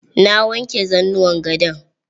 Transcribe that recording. Na wanke zanuwan gadon.